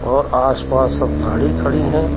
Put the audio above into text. और आसपास सब गाड़ी खड़ी हैं।